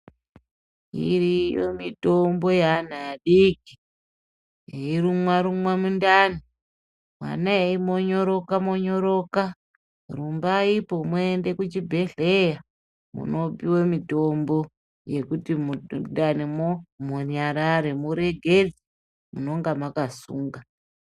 Iriyo mitombo yeana adiki eyirumwarumwa mundani mwana eimonyoroka monyoroka rumbaipo muende kuchibhehleya munopiwe mitombo yekuti mundanimwo munyarare muregere munonga mwakasunga.